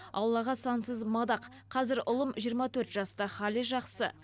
аллаға сансыз мадақ қазір ұлым жиырма төрт жаста хәлі жақсы